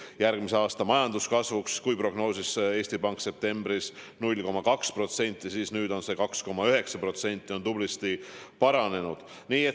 Järgmise aasta majanduskasvuks prognoosis Eesti Pank septembris 0,2%, nüüd on prognoos 2,9% ehk tublisti parem.